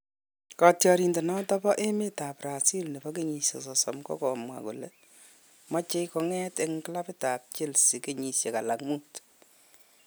Katyarindet noton bo emet ab Brazil ne bo kenyisiek sosom ko komwa kole moche konget en klabit ab Chelsea kenyisiek alak muut